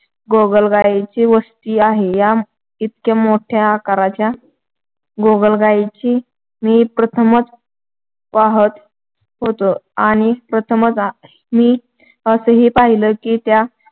गोगलगाईंची वस्ती आहे. इतक्‍या मोठ्या आकाराच्या गोगलगाई मी प्रथमच पाहत होतो आणि प्रथमच मी असंही पाहिलं की त्या